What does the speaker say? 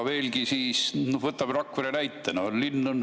No võtame Rakvere näite.